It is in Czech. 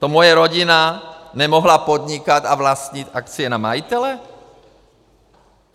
To moje rodina nemohla podnikat a vlastnit akcie na majitele?